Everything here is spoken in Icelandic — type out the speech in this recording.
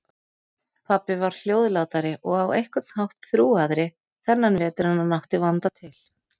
Pabbi var hljóðlátari og á einhvern hátt þrúgaðri þennan vetur en hann átti vanda til.